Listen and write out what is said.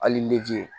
Hali nege